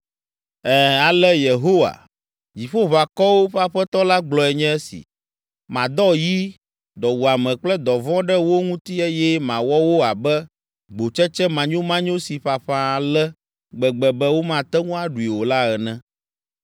Ɛ̃, ale Yehowa, Dziƒoʋakɔwo ƒe Aƒetɔ la gblɔe nye esi: “Madɔ yi, dɔwuame kple dɔvɔ̃ ɖe wo ŋuti eye mawɔ wo abe gbotsetse manyomanyo si ƒaƒã ale gbegbe be womate ŋu aɖui o la ene.